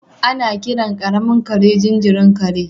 Ana kiran karamin kare jinjirin kare.